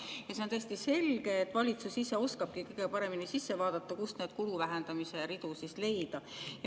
Ja see on tõesti selge, et valitsus ise oskab kõige paremini sisse vaadata, kust neid kulu vähendamise ridu leida.